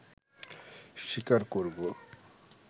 স্বীকার করবো